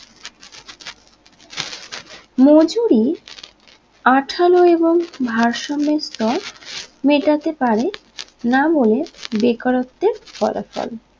মজুরি আঠালো এবং ভারসোমিত্র মেটাতে পারে নাবলে বেকারত্বের ফলাফল